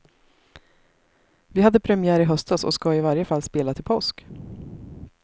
Vi hade premiär i höstas och ska i varje fall spela till påsk.